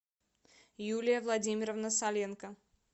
юлия владимировна саленко